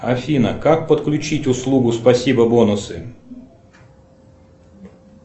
афина как подключить услугу спасибо бонусы